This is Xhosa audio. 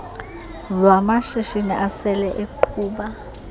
lwamashishini asele eqhuba